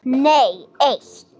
Nei eitt.